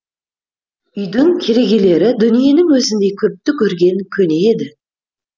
үйдің керегелері дүниенің өзіндей көпті көрген көне еді